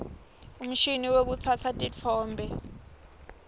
umshini wekutsatsa titfombe